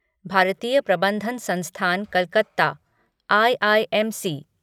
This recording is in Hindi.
भारतीय प्रबंधन संस्थान कलकत्ता आईआईएमसी